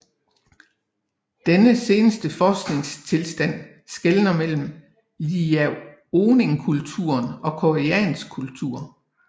Denne seneste forskningstilstand skelner mellem Liaoning kultur og koreansk kultur